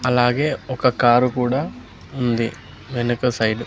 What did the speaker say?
అలాగే ఒక కారు కూడా ఉంది వెనుక సైడ్ --